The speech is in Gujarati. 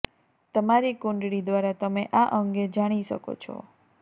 તમારી કુંડળી દ્વારા તમે આ અંગે જાણી શકો છો